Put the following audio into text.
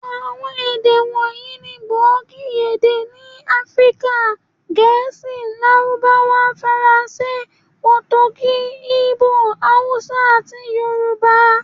Àwọn èdè wọ̀nyí ni gbòógì èdè ni Áfríkà; Gẹ̀ẹ́sì, Lárúbáwá, Faransé, Potogí, Igbo, Hausa, àti Yorùbá.